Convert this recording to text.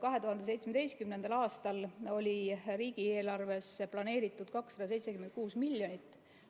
2017. aastal oli riigieelarvesse planeeritud 276 miljonit.